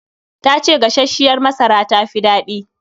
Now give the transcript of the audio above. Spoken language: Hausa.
Ta ce gasasshiyar masara tafi daɗi